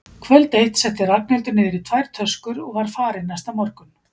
Kvöld eitt setti Ragnhildur niður í tvær töskur og var farin næsta morgun.